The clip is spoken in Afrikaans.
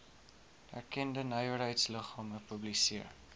erkende nywerheidsliggame publiseer